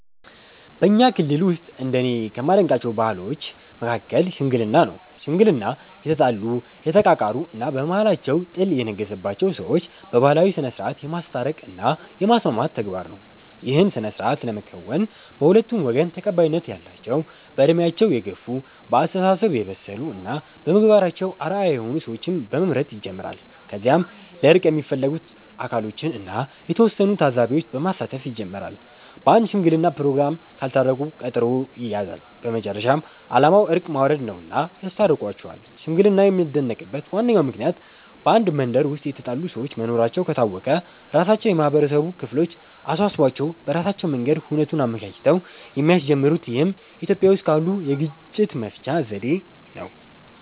በኛ ክልል ውስጥ እንደኔ ከማደንቃቸው ባህሎች መሀከል "ሽምግልና" ነው። ሽምግልና የተጣሉ፣ የተቃቃሩ እና በመሃላቸው ጥል የነገሰባቸውን ሰዎች በባህላዊ ስነስርዓት የማስታረቅ እና የማስማማት ተግባር ነው። ይህን ስነስርዓት ለመከወን በሁለቱም ወገን ተቀባይነት ያላቸው በእድሜያቸው የገፍ፣ በአስተሳሰብ የበሰሉ እና በምግባራቸው አርአያ የሆኑ ሰዎችን በመምረጥ ይጀምራል። ከዚያም ለእርቅ የሚፈለጉት አካሎችን እና የተወሰኑ ታዛቢዎች በማሳተፍ ይጀመራል። በአንድ ሽምግለና ፕሮግራም ካልታረቁ ቀጠሮ ይያያዛል። በመጨረሻም አላማው እርቅ ማውረድ ነውና ያስታርቋቸዋል። ሽምግልና የሚደነቅበት ዋነኛው ምክንያት በአንድ መንደር ውስጥ የተጣሉ ሰዎች መኖራቸው ከታወቀ ራሳቸው የማህበረሰቡ ክፍል አሳስቧቸው በራሳቸው መንገድ ሁነቱን አመቻችተው የሚያስጀምሩት ይህም ኢትዮጵያዊ ውስጥ ካሉት የግጭት መፍቻ ዘዴ ነው።